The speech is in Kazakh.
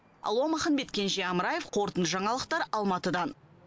алуа маханбет кенже амраев қорытынды жаңалықтар алматыдан